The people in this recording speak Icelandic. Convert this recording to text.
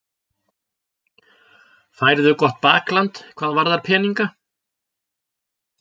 Færðu gott bakland hvað varðar peninga?